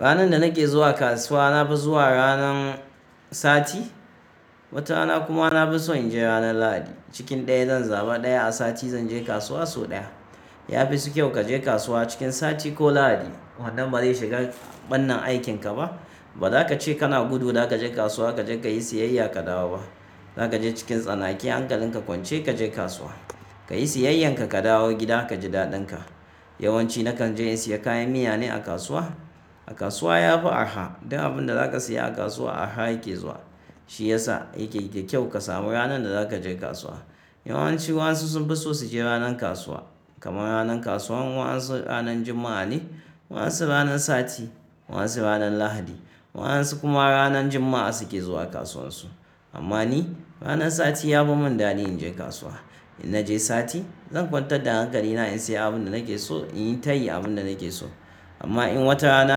Ranar da nake zuwa kasuwa, na fi zuwa ranar sati. Wata rana kuma na fi so in je ranar Lahadi. Cikin ɗaya zan zaba ɗaya. A sati zan je kasuwa sau ɗaya. Ya fi su kyau ka je kasuwa cikin sati ko Lahadi, wannan ba zai shiga ɓannen aikin ka ba. Ba za ka ce kana gudu za ka je kasuwa, ka je ka yi siyayya ka dawo ba. Za ka je cikin tsanaki hankalin ka kwance ka je kasuwa, ka yi siyayyar ka, ka dawo gida ka ji daɗin ka. Yawanci nakan je in sayi kayan miya ne a kasuwa. A kasuwa ya fi arha. Duk abin da za ka saya a kasuwa arha yake zuwa. Shi ya sa yake da kyau ka samu ranar da za ka je kasuwa. Yawanci wasu sun fi so su je ranar kasuwa. Kamar ranar kasuwan wasu ranar Juma'a ne, wasu ranar sati, wasu ranar Lahadi. Wasu kuma ranar Juma'a suke zuwa kasuwan su. Amma ni ranar sati ya fi mun dadi in je kasuwa. In naje sati zan kwantar da hankali na in sayi abin da nake so, in yi tayi abin da nake so. Amma in watarana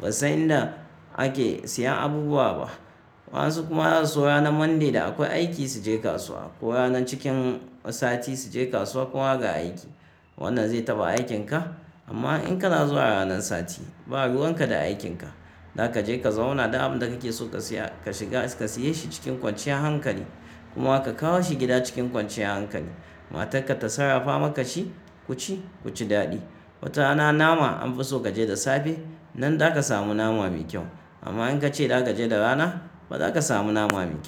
ba san inda ake sayan abubuwa ba. Wasu kuma za su zo ranar Monday da akwai aiki su je kasuwa, ko ranar cikin sati su je kasuwa kuma ga aiki. Wannan zai taɓa aikin ka. Amma in kana zuwa ranan sati, ba ruwan ka da aikin ka. Za ka je ka zauna da abin da kake so ka siya, ka shiga ka siye shi cikin kwanciyar hankali kuma ka kawo shi gida cikin kwanciyar hankali. Matar ka ta sarrafa maka shi ku ci ku ci daɗi. Watana nama an fi so ka je da safe. Nan za ka samu nama mai kyau. Amma in ka ce za ka je da rana, ba za ka samu nama mai kyau.